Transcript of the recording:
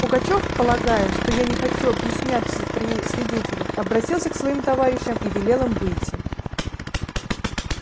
пугачёв полагая что я не хочу объясняться при свидетелях обратился к своим товарищам и велел им выйти